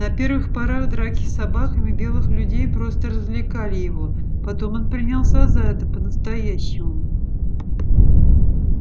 на первых порах драки с собаками белых людей просто развлекали его потом он принялся за это по настоящему